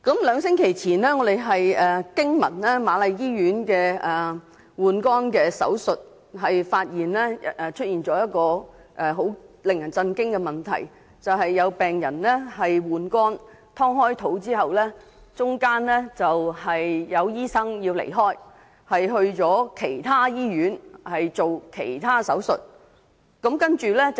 兩星期前，我們驚聞瑪麗醫院的換肝手術出現了令人震驚的情況，有病人進行換肝手術被剖腹後，醫生需要到其他醫院進行其他手術。